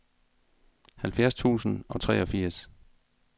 halvfjerds tusind og treogfirs